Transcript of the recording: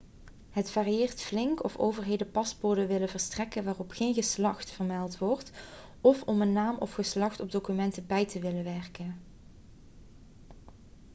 het varieert flink of overheden paspoorten willen verstrekken waarop geen geslacht x vermeld wordt of om een naam of geslacht op documenten bij te willen werken